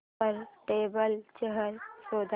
वर table chair शोध